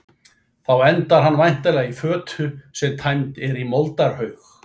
Þá endar hann væntanlega í fötu sem tæmd er í moldarhaug.